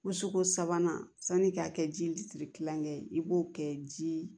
Ko suko sabanan sanni i k'a kɛ ji litiri kilankɛ ye i b'o kɛ ji